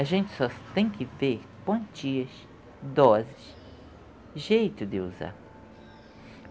A gente só tem que ver quantias, doses, jeito de usar.